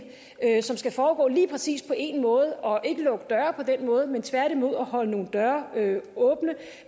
som skal foregå lige præcis på en måde og ikke lukke døre på den måde men tværtimod holde nogle døre åbne